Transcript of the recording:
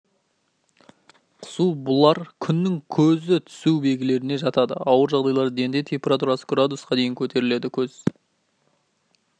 құсу бұлар күннің көзі түсудің белгілеріне жатады ауыр жағдайларда дене температурасы градусқа дейін көтеріледі көз